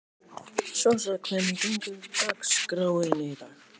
Sossa, hvernig er dagskráin í dag?